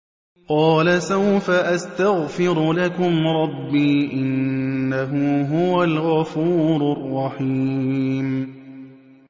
قَالَ سَوْفَ أَسْتَغْفِرُ لَكُمْ رَبِّي ۖ إِنَّهُ هُوَ الْغَفُورُ الرَّحِيمُ